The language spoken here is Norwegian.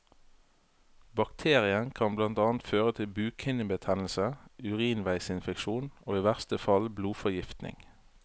Bakterien kan blant annet føre til bukhinnebetennelse, urinveisinfeksjon og i verste fall blodforgiftning.